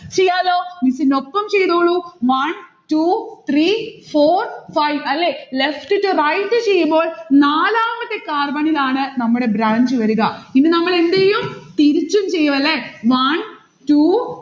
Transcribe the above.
ചെയ്യാലോ? miss നൊപ്പം ചെയ്തോളു. one two three four five അല്ലെ? left to right ചെയ്യുമ്പോൾ നാലാമത്തെ carbon ഇലാണ് നമ്മടെ branch വരിക. ഇനി നമ്മൾ എന്തെയും? തിരിച്ചും ചെയ്യും അല്ലെ. one two